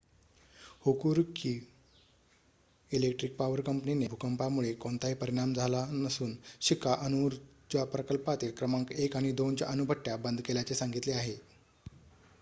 Hokuriku electric power कंपनीने भूकंपामुळे कोणताही परिणाम झाला नसून शिका अणुऊर्जा प्रकल्पातील क्रमांक १ आणि २ च्या अणुभट्ट्या बंद केल्याचे सांगितले आहे